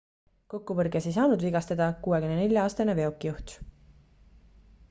kokkupõrkes ei saanud vigastada 64-aastane veokijuht